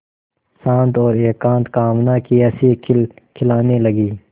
शांत और एकांत कामना की हँसी खिलखिलाने लगी